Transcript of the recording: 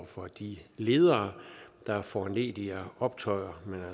for de ledere der foranlediger optøjer men